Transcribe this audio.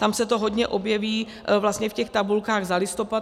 Tam se to hodně objeví vlastně v těch tabulkách za listopad.